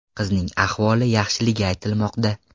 Qizning ahvoli yaxshiligi aytilmoqda.